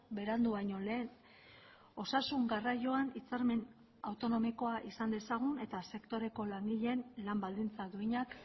berandu baino lehen osasun garraioan hitzarmen autonomikoa izan dezagun eta sektoreko langileen lan baldintza duinak